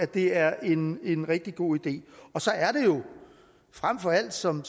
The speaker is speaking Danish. det er en en rigtig god idé så er det jo frem for alt som